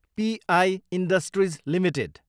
प इ industries Ltd